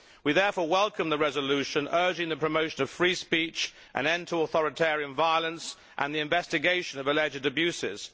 We therefore welcome the resolution urging the promotion of free speech, an end to authoritarian violence and the investigation of alleged abuses.